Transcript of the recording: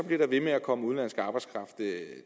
bliver ved med at komme udenlandsk arbejdskraft